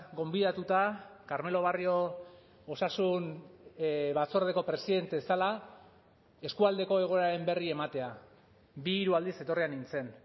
gonbidatuta carmelo barrio osasun batzordeko presidente zela eskualdeko egoeraren berri ematea bi hiru aldiz etorria nintzen